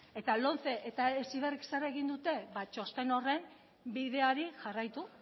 eta lomce eta heziberrik zer egin dute ba txosten horren bideari jarraitu